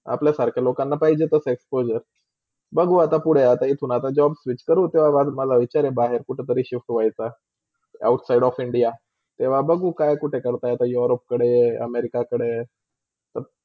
अपल्यासारखा लोकांना पाहिजेतर explosure. बघू आता पुडे इथून आता job switch करू तेव्हा माझा विचार बाहेर कुठेतरी shift होयच out of India तेव्हा बघू काय कुठे करता येता europe कडे, america कडे.